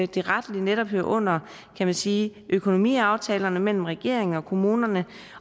det rettelig hører under kan man sige økonomiaftalen mellem regeringen og kommunerne